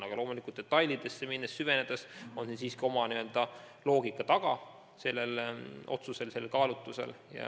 Aga detailidesse süvenedes leidsin, et siiski oma loogika sellel otsusel on.